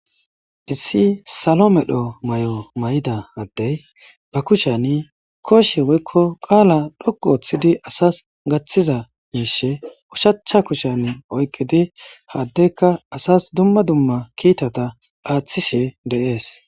Issi salo medho mayo mayida addey ba kushan kooshe woykko qaala dhoqqu ooththidi asas gaththiza miishe ushacha kushan oyqqidi ha addeykka asas dumma dumma kiitata aaththishe de7ees.